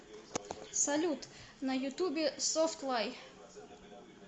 салют на ютубе софтлай